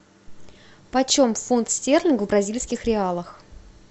почем фунт стерлинг в бразильских реалах